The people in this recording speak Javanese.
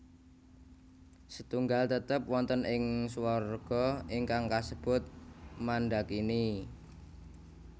Setunggal tetep wonten ing swarga ingkang kasebut Mandakini